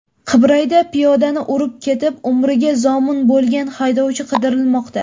Qibrayda piyodani urib ketib, umriga zomin bo‘lgan haydovchi qidirilmoqda.